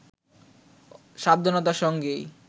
সাবধানতার সঙ্গেই